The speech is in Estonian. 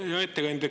Hea ettekandja!